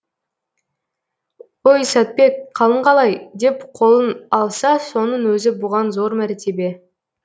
ой сәтбек қалың қалай деп қолын алса соның өзі бұған зор мәртебе